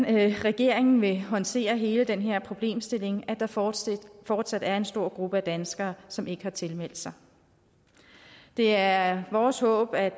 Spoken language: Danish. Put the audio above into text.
regeringen vil håndtere hele den her problemstilling med at der fortsat fortsat er en stor gruppe af danskere som ikke har tilmeldt sig det er vores håb at